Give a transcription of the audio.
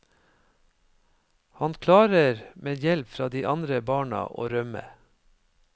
Han klarer med hjelp fra de andre barna å rømme.